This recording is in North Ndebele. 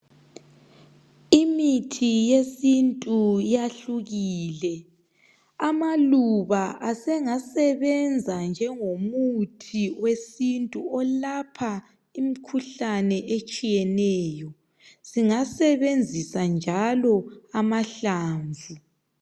Imithi yesintu yahlukile amaluba asengasebenza njengomuthi wesintu olapha imikhuhlane etshiyeneyo singasebenzisa njalo amahlamvu.